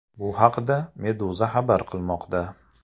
Bu haqda Meduza xabar qilmoqda .